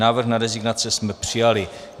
Návrh na rezignace jsme přijali.